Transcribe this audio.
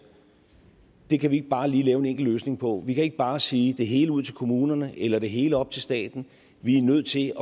at det kan vi ikke bare lige lave en enkel løsning på vi kan ikke bare sige det hele ud til kommunerne eller det hele op til staten vi er nødt til